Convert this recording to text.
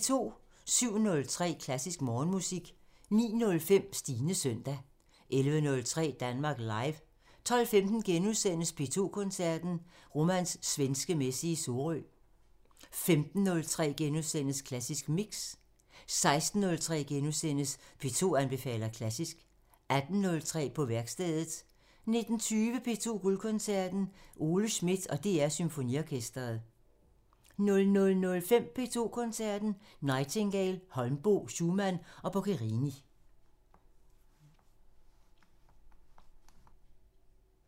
07:03: Klassisk Morgenmusik 09:05: Stines søndag 11:03: Danmark Live 12:15: P2 Koncerten – Romans Svenske Messe i Sorø * 15:03: Klassisk Mix * 16:03: P2 anbefaler klassisk * 18:03: På værkstedet 19:20: P2 Guldkoncerten – Ole Schmidt og DR Symfoniorkestret 00:05: P2 Koncerten – Nightingale, Holmboe, Schumann og Boccherini